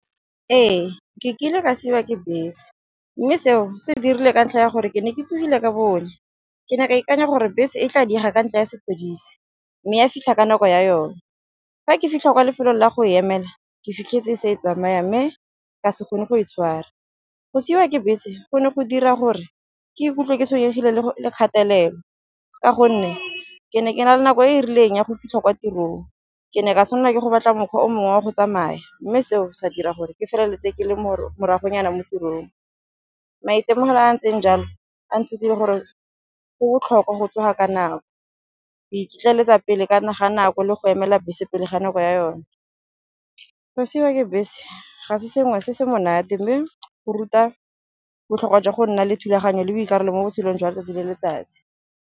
Ee ke kile ka siwa ke bese mme seo se dirile ka ntlha ya gore ke ne ke tsogile ka bonnye, ke ne ka ikanya gore bese e tla dira ka ntlha ya sepodisi mme ya fitlha ka nako ya yone. Fa ke fitlha kwa lefelong la go emela ke fitlhetse e se e tsamaya mme ka se gone go e tshwara, go siwa ke bese go ne go dira gore ke ikutlwe ke tshwenyegile le kgatelelo ka gonne ke ne ke na le nako e e rileng ya go fitlha kwa tirong ke ne ka tshwanela ke go batla mokgwa o mongwe wa go tsamaya, mme seo se dira gore ke feleletse ke le morago nyana mo tirong. Maitemogelo a ntseng jalo a nthutile gore go botlhokwa go tsoga ka nako, go iketleletsa pele ga nako le go emela bese pele ga nako ya yone. Go siwa ke bese ga se sengwe se se monate mme go ruta botlhokwa jwa go nna le thulaganyo le boikarabelo mo botshelong jwa letsatsi le letsatsi.